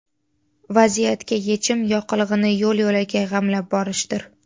Vaziyatga yechim yoqilg‘ini yo‘l-yo‘lakay g‘amlab borishdir.